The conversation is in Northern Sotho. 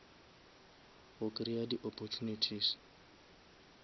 go kreya di opportunities